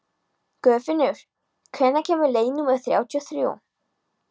Guðfinnur, hvenær kemur leið númer þrjátíu og þrjú?